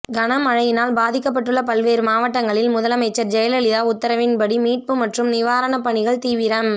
கனமழையினால் பாதிக்கப்பட்டுள்ள பல்வேறு மாவட்டங்களில் முதலமைச்சர் ஜெயலலிதா உத்தரவின்படி மீட்பு மற்றும் நிவாரணப் பணிகள் தீவிரம்